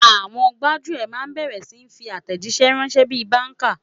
Àwọn gbájúẹ̀ máa bẹ̀rẹ̀ sí ni fi àtẹ̀jíṣẹ́ ránṣẹ́ bí i báńkà.